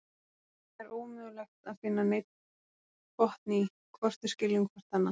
Það er ómögulegt að finna neinn botn í, hvort við skiljum hvort annað.